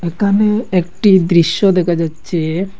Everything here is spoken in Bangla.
এখানে একটি দৃশ্য দেখা যাচ্ছে।